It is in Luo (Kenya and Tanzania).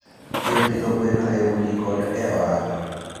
Yot pidho gwen e udi koda e ohala.